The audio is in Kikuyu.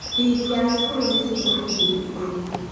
Bithi ya cukuru nĩ shilingi ngiri ikũmi.